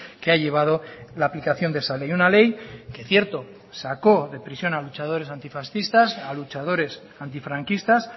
que ha llevado la aplicación de esa ley una ley que cierto sacó de prisión a luchadores antifascistas a luchadores antifranquistas